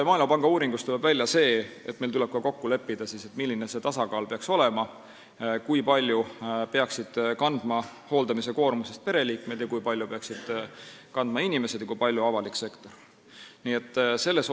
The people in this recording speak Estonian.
Maailmapanga uuringust tuleb selgelt välja, et meil tuleb kokku leppida, milline see tasakaal peaks olema, kui suure osa hooldamiskoormusest peaksid kandma pereliikmed, kui palju peaksid kandma inimesed ise ja kui palju peaks kandma avalik sektor.